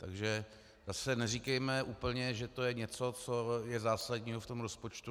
Takže zase neříkejme úplně, že to je něco, co je zásadního v tom rozpočtu.